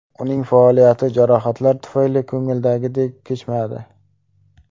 Uning faoliyati jarohatlar tufayli ko‘ngildagidek kechmadi.